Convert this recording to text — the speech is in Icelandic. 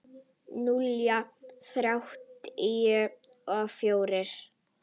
Núll þrjátíu og fjórir?